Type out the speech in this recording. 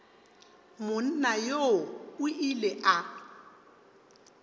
monna yoo o ile a